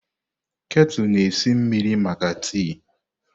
Ketu na esi mmiri maka tii.